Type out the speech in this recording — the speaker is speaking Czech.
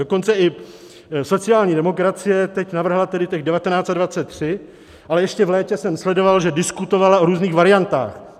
Dokonce i sociální demokracie teď navrhla tedy těch 19 a 23, ale ještě v létě jsem sledoval, že diskutovala o různých variantách.